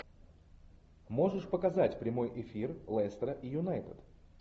можешь показать прямой эфир лестера и юнайтед